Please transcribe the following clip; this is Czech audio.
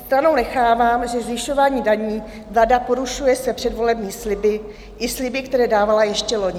Stranou nechávám, že zvyšováním daní vláda porušuje své předvolební sliby i sliby, které dávala ještě loni.